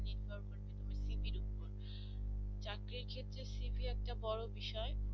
চাকরির জন্য cv একটা বড় বিষয়